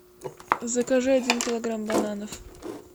закажи один килограмм бананов